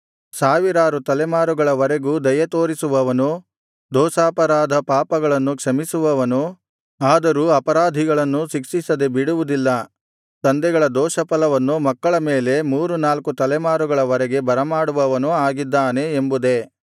ಸಾವಿರಾರು ತಲೆಮಾರುಗಳವರೆಗೂ ದಯೆತೋರಿಸುವವನು ದೋಷಾಪರಾಧ ಪಾಪಗಳನ್ನು ಕ್ಷಮಿಸುವವನು ಆದರೂ ಅಪರಾಧಿಗಳನ್ನು ಶಿಕ್ಷಿಸದೆ ಬಿಡುವುದಿಲ್ಲ ತಂದೆಗಳ ದೋಷಫಲವನ್ನು ಮಕ್ಕಳ ಮೇಲೆ ಮೂರು ನಾಲ್ಕು ತಲೆಮಾರುಗಳವರೆಗೆ ಬರಮಾಡುವವನು ಆಗಿದ್ದಾನೆ ಎಂಬುದೇ